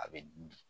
A bɛ di